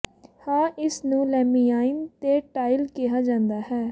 ਹਾਂ ਇਸ ਨੂੰ ਲੈਮਿਾਈਨ ਤੇ ਟਾਇਲ ਕਿਹਾ ਜਾਂਦਾ ਹੈ